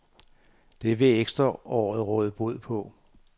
Det vil ekstraåret råde bod på.